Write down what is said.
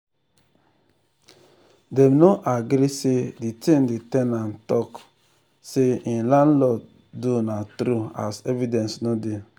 dem no agree say the thing the ten ant talk say hin landlord do na true as evidence no dey.